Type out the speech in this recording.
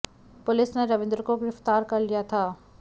police ने रविंद्र को गिरफ्तार कर लिया था